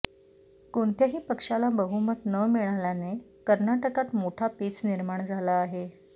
कोणत्याही पक्षाला बहुमत न मिळाल्याने कर्नाटकात मोठा पेच निर्माण झाला आहे